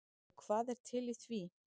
Og hvað er til í því?